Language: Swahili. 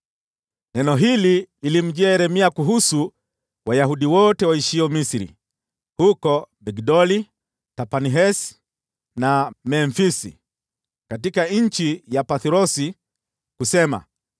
Neno hili lilimjia Yeremia kuhusu Wayahudi wote waishio Misri, huko Migdoli, Tahpanhesi na Memfisi, katika nchi ya Pathrosi kusema: